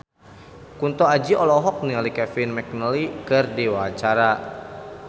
Kunto Aji olohok ningali Kevin McNally keur diwawancara